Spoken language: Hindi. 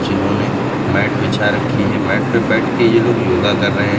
जिन्होंने मैट बिछा रखी है मैट पे बैठ के ये लोग योगा कर रहे हैं।